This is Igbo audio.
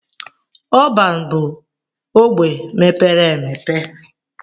Ọban bu ogbe mepere emepe.